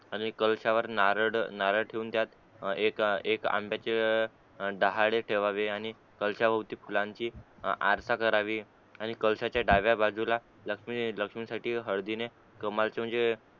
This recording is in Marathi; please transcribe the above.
आणि कळसावर नारड नारळ ठेवून त्यात एक एकआंब्याचे डहाळे ठेवावे कलश भवती फुलांची आरसा करावी आणि कळसाचा डाव्या बाजूला ते लक्ष्मी साठी ते हळदीने कमालच म्हणजे